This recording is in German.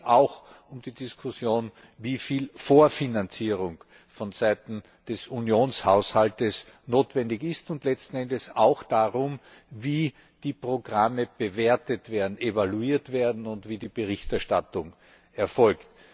Es geht auch um die Diskussion, wie viel Vorfinanzierung vonseiten des Unionshaushalts notwendig ist, und letzten Endes auch darum, wie die Programme bewertet werden, evaluiert werden und wie die Berichterstattung erfolgt.